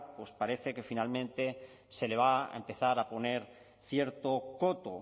pues parece que finalmente se le va a empezar a poner cierto coto